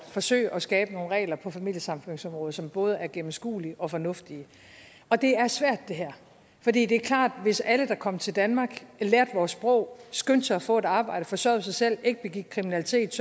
at forsøge at skabe nogle regler på familiesammenføringsområdet som både er gennemskuelige og fornuftige og det er svært det her for det det er klart at hvis alle der kom til danmark lærte vores sprog skyndte sig at få et arbejde forsørgede sig selv ikke begik kriminalitet